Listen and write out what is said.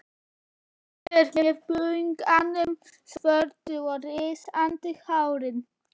Pétur með baugana svörtu og rísandi hárin.